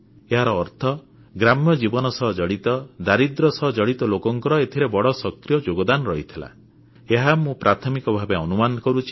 ଏହାର ଅର୍ଥ ଗ୍ରାମ୍ୟ ଜୀବନ ସହ ଜଡ଼ିତ ଦାରିଦ୍ର୍ୟ ସହ ଜଡ଼ିତ ଲୋକଙ୍କର ଏଥିରେ ବଡ଼ ସକ୍ରିୟ ଯୋଗଦାନ ରହିଥିଲା ଏହା ମୁଁ ପ୍ରାଥମିକ ଭାବେ ଅନୁମାନ କରୁଛି